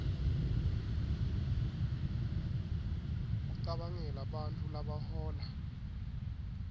kucabangela bantfu labahola